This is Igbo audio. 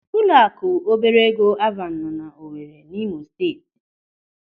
Ụlọaku obere ego Alvana nọ n'Owere n'Imo Steeti.